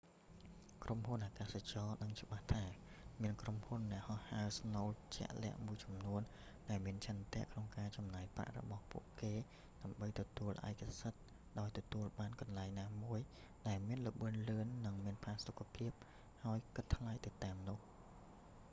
ក្រុមហ៊ុនអាកាសចរណ៍ ដឹងច្បាស់ថាមានក្រុមអ្នកហោះហើរស្នូលជាក់លាក់មួយចំនួន ដែលមានឆន្ទៈក្នុងការចំណាយប្រាក់របស់ពួកគេដើម្បីទទួលឯកសិទ្ធិ ដោយទទួលបានកន្លែងណាមួយដែលមានល្បឿនលឿន និងមានផាសុខភាព ហើយគិតថ្លៃទៅតាមនោះ